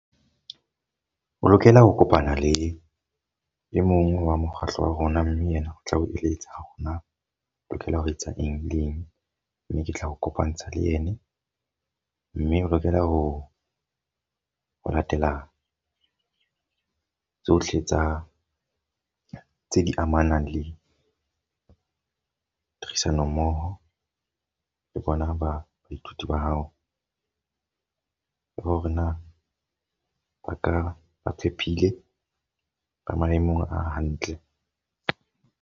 O lokela ho kopana le e mong wa mokgahlo wa rona. Mme yena o tla o eletsa hore na lokela ho etsa eng le eng. Mme ke tla o kopantsha le ene. Mme o lokela ho latela tsohle tsa tse di amanang le tlhodisano mmoho le bona ba baithuti ba hao. Le hore na ba ka ba phephile ba maemong a hantle.